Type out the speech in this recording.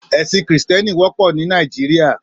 Èsín Kristièní wòpò ni Nàijiriá